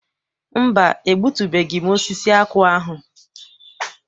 Mba, egbutubeghị m osisi akwụ ahụ.